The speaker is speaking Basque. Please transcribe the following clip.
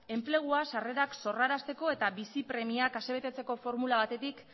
sarrerak sorrarazteko eta bizi premiak ase betetzeko formula batetik